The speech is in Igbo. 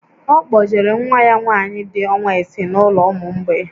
Ọ kpọjere nwa ya nwaanyị dị ọnwa isii n'ụlọ ụmụ mgbei